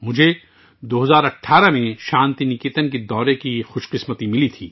مجھے 2018میں شانتی نکیتن کا دورہ کرنے کا موقع ملا